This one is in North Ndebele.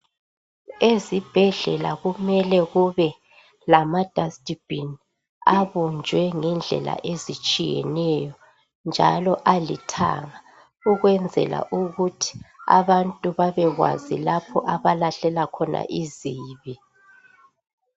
Ezibhedlela kumele kube lama dasithi bhini abunjwe ngendlela ezitshiyeneyo, njalo alithanga ukwenzela ukuthi abantu babekwazi lapha abalahlela khona izibi.